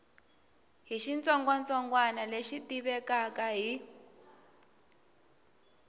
hi xitsongwatsongwana lexi tivekaka hi